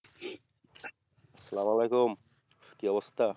সালাম আলিকুম কি অবস্থা?